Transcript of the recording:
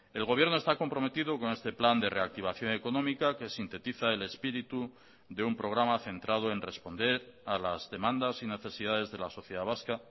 el gobierno está comprometido con este plan de reactivación económica que sintetiza el espíritu de un programa centrado en responder a las demandas y necesidades de la sociedad vasca